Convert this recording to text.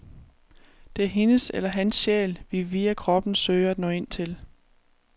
Det er hendes eller hans sjæl, vi via kroppen søger at nå ind til.